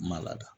Ma lada